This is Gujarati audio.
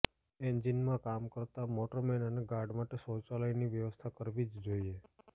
એન્જિનનમાં કામ કરતા મોટરમેન અને ગાર્ડ માટે શૌચાલયની વ્યવસ્થા કરવી જ જોઈએ